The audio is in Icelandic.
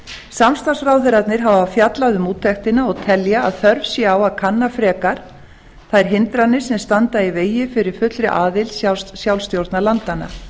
samstarfsráðherrarnir hafa fjallað um úttektina og telja að þörf sé á að kanna frekar þær hindranir sem standa í vegi fyrir fullri aðild sjálfstjórnarlandanna